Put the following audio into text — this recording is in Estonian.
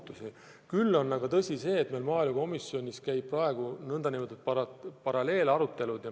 Tõsi on ka see, et meil maaelukomisjonis käivad praegu nn paralleelarutelud.